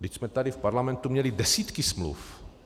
Vždyť jsme tady v Parlamentu měli desítky smluv.